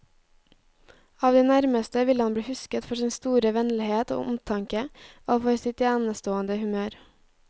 Av de nærmeste vil han bli husket for sin store vennlighet og omtanke, og for sitt enestående humør.